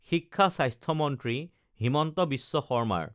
শিক্ষা স্বাস্থ্যমন্ত্ৰী হিমন্ত বিশ্ব শৰ্মাৰ